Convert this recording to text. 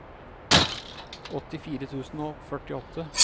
åttifire tusen og førtiåtte